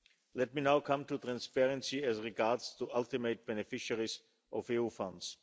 Let me now come to transparency as regards the ultimate beneficiaries of EU funds.